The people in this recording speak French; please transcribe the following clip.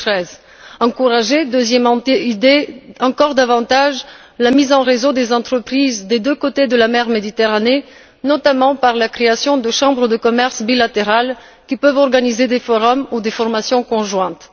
2013. Deuxième idée encourager davantage la mise en réseau des entreprises des deux côtés de la mer Méditerranée, notamment par la création de chambres de commerce bilatérales qui peuvent organiser des forums ou des formations conjointes.